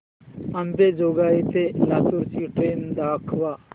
अंबेजोगाई ते लातूर ची ट्रेन दाखवा